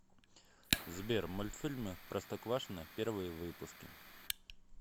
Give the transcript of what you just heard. сбер мульфильмы простоквашино первые выпуски